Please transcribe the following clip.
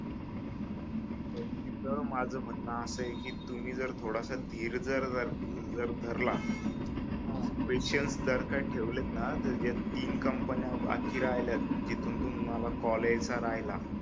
तिथ माझ म्हणन आसय की तुम्ही जर थोडासा धीर जर जर धरला पेशन्स जर का ठेवले ना तर ज्या तीन कंपन्या बाकी राहिल्यात जिथून तुम्हाल कॉल यायचा राहिला